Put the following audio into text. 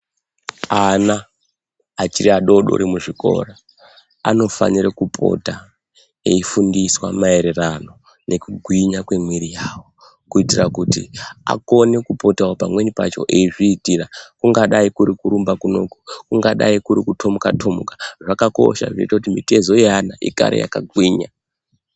Ana achiri adodori muzvikora anofanire kupota eifundiswa maererano nekugwinya kwemwiri yawo kuitira kuti akone kupotawo pamweni pacho eizviitira kungadai kuri kurumba kuno kungadai kuri kutomuka-tomuka zvakakosha zvoite kuti mitezo yeana igare yakagwinya.